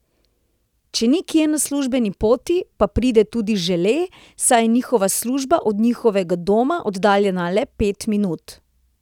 Če ni kje na službeni poti, pa pride tudi Žele, saj je njegova služba od njihovega doma oddaljena le pet minut.